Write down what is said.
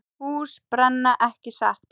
Hús brenna, ekki satt?